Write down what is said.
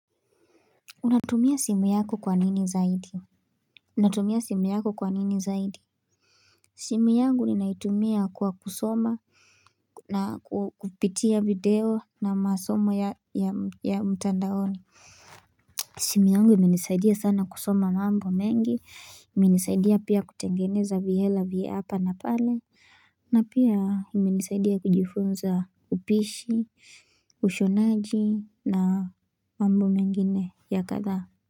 Unatumia simu yako kwa nini zaidi? Unatumia simu yako kwa nini zaidi? Simu yangu ni naitumia kwa kusoma na kupitia video na masomo ya ya ya mtandaoni. Simu yangu imenisaidia sana kusoma mambo mengi, imenisaidia pia kutengeneza vihela vya hapa na pale, na pia imenisaidia kujifunza upishi, ushonaji na mambo mengine ya kadhaa.